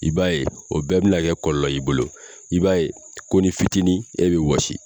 I b'a ye o bɛɛ bina kɛ kɔlɔlɔ y'i bolo, i b'a ye ko ni fitinin e bi wɔsi